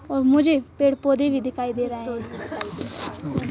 और मुझे पेड़-पौधे भी दिखाई दे रा हैं।